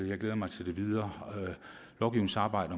jeg glæder mig til det videre lovgivningsarbejde